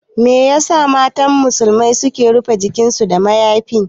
Me yasa matan musulmi suke rufe jikinsu da mayafi?